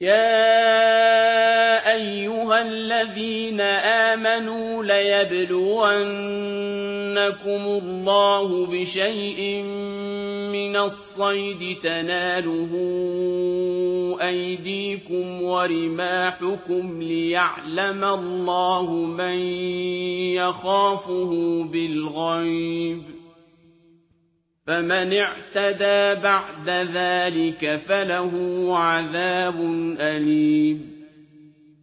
يَا أَيُّهَا الَّذِينَ آمَنُوا لَيَبْلُوَنَّكُمُ اللَّهُ بِشَيْءٍ مِّنَ الصَّيْدِ تَنَالُهُ أَيْدِيكُمْ وَرِمَاحُكُمْ لِيَعْلَمَ اللَّهُ مَن يَخَافُهُ بِالْغَيْبِ ۚ فَمَنِ اعْتَدَىٰ بَعْدَ ذَٰلِكَ فَلَهُ عَذَابٌ أَلِيمٌ